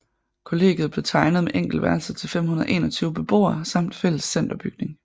Kollegiet blev tegnet med enkeltværelser til 521 beboere samt fælles centerbygning